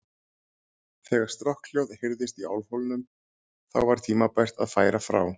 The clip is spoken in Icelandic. Þegar strokkhljóð heyrðist í álfhólnum, þá var tímabært að færa frá.